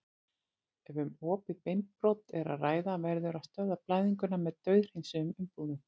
Ef um opið beinbrot er að ræða verður að stöðva blæðinguna með dauðhreinsuðum umbúðum.